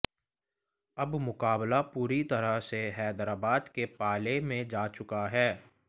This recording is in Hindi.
अब मुकाबला पूरी तरह से हैदराबाद के पाले में जा चुका है